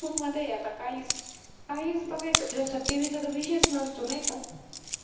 youtube मध्ये आता काहीच काहीच बघायचं म्हणजे आता TV चा विषय नसतो नाही का